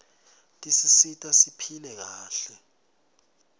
tisisita siphile kahle